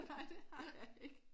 Nej det har jeg ikke